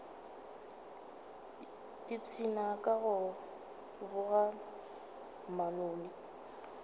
ipshina ka go boga manoni